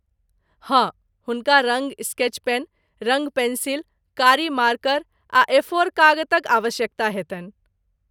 हाँ, हुनका रङ्ग स्केच पेन, रङ्ग पेंसिल, कारी मार्कर आ एफोर कागतक आवश्यकता हेतनि।